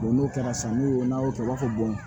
n'o kɛra san n'o n'a y'o kɛ i b'a fɔ